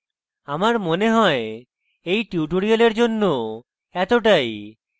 আমার মনে হয় এই tutorial জন্য এতটাই